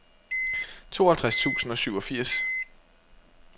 tooghalvtreds tusind og syvogfirs